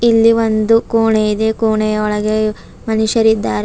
ಇಲ್ಲಿ ಒಂದು ಕೋಣೆ ಇದೆ ಕೋಣೆಯ ಒಳಗೆ ಮನುಷ್ಯರಿದ್ದಾರೆ.